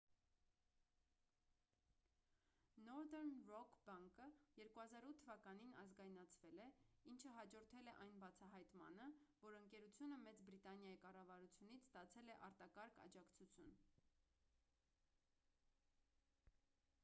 northern rock բանկը 2008 թ ազգայնացվել է ինչը հաջորդել է այն բացահայտմանը որ ընկերությունը մեծ բրիտանիայի կառավարությունից ստացել է արտակարգ աջակցություն